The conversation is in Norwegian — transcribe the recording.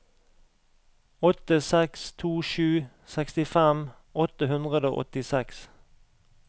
åtte seks to sju sekstifem åtte hundre og åttiseks